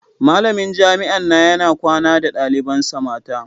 Malamin jami'an na yana kwana da dalibansa mata.